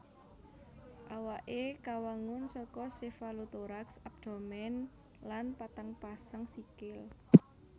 Awaké kawangun saka sefalotoraks abdomen lan patang pasang sikil